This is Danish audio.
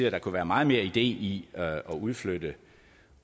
at der kunne være meget mere idé i at udflytte